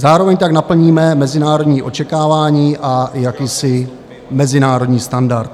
Zároveň tak naplníme mezinárodní očekávání a jakýsi mezinárodní standard.